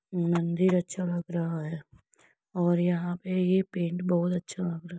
मंदिर अच्छा लग रहा हैं और यहाँ पे ये पैन्ट बहोत अच्छा लग रहा हैं।